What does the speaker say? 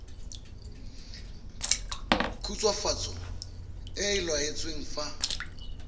khutswafatso e e laotsweng fa